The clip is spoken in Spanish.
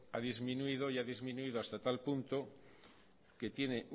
ha disminuido y ha disminuido hasta tal punto que tiene